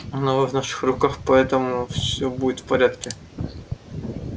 но вы в наших руках поэтому все будет в порядке